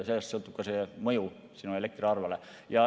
Sellest sõltub ka mõju elektriarvele.